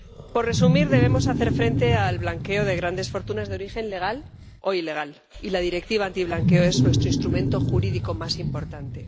Por resumir debemos hacer frente al blanqueo de grandes fortunas de origen legal, o ilegal, y la Directiva antiblanqueo es nuestro instrumento jurídico más importante.